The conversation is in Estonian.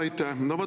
Aitäh!